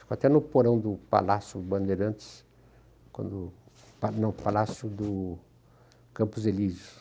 Ficou até no porão do Palácio Bandeirantes, quando não, Palácio do Campos Elíseos.